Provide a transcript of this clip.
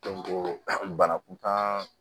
bana kuntan